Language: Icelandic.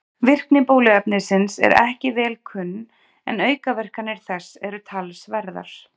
Virkni bóluefnisins er ekki vel kunn en aukaverkanir þess eru talsverðar.